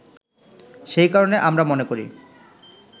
সেই কারণে আমরা মনে করি